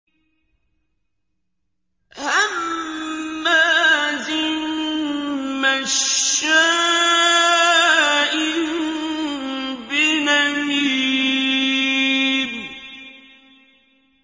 هَمَّازٍ مَّشَّاءٍ بِنَمِيمٍ